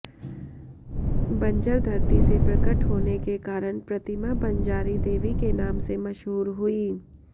बंजर धरती से प्रकट होने के कारण प्रतिमा बंजारी देवी के नाम से मशहूर हुई